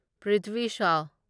Prithvi Shaw